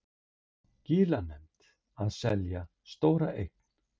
Skilanefnd að selja stóra eign